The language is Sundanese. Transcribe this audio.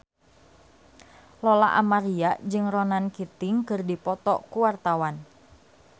Lola Amaria jeung Ronan Keating keur dipoto ku wartawan